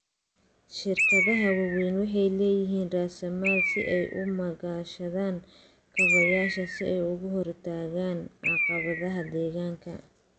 Shirkadaha waaweyni waxay leeyihiin raasamaal si ay u maalgashadaan kaabayaasha si ay uga hortagaan caqabadaha deegaanka.